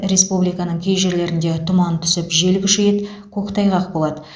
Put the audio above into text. республиканың кей жерлерінде тұман түсіп жел күшейеді көктайғақ болады